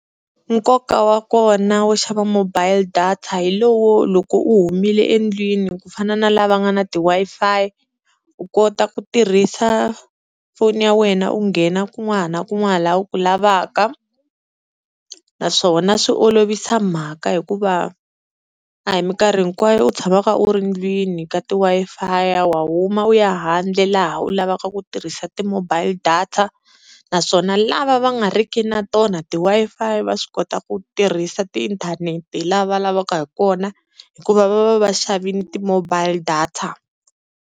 Nkoka wa kona wo xava mobile data hi lowo loko u humile endlwini ku fana na lava nga na ti-Wi-Fi, u kota ku tirhisa foni ya wena u nghena kun'wana na kun'wana laha u ku lavaka naswona swi olovisa mhaka hikuva a hi minkarhi hinkwayo u tshamaka u ri ndlwini ka ti-Wi-Fi, wa huma u ya handle laha u lavaka ku tirhisa ti-mobile data naswona lava va nga riki na tona ti-Wi-Fi va swi kota ku tirhisa tiinthanete la lavaka hi kona hikuva va va va xavini ti-mobile data.